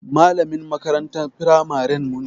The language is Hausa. Malamin makarantar firamaren mu ne.